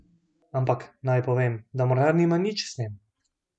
Ampak, naj povem, da Mornar nima nič s tem.